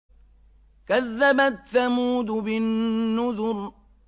كَذَّبَتْ ثَمُودُ بِالنُّذُرِ